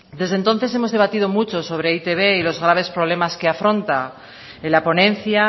desde entonces hemos debatido mucho sobre e i te be y los graves problemas que afronta en la ponencia